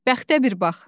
Bəxtə bir bax!